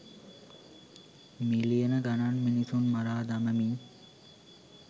මිලියන ගණන් මිනිසුන් මරා දමමින්